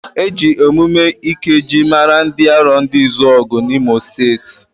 Eji emume ikejii mara ndị Arondizuoguuu na imo steeti.